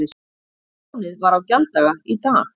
Lánið var á gjalddaga í dag